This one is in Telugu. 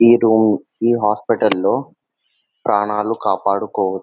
ఈ రూమ్ ఈ హాస్పటల్లో ప్రాణాలు కాపాడుకోవచ్చు --